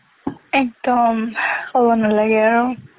একদম ক'ব নালাগে আৰু